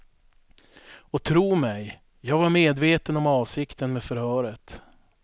Och tro mig, jag var medveten om avsikten med förhöret.